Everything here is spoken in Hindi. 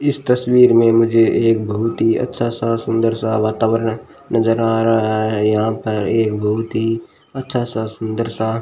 इस तस्वीर में मुझे एक बहुत ही अच्छा सा सुंदर सा वातावरण नजर आ रहा हैं यहां पर एक गोमती अच्छा सा सुंदर सा--